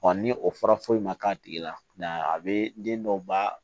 ni o fɔra foyi ma k'a tigi la a bɛ den dɔw ba